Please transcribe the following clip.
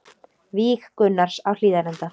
Víg Gunnars á Hlíðarenda